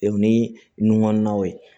E ni nun kɔnɔnaw ye